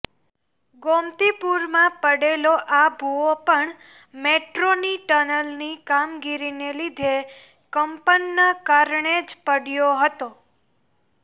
ગોમતીપુરમાં પડેલો આ ભુવો પણ મેટ્રોની ટનલની કામગીરીને લીધે કંપનના કારણે જ પડ્યો હતો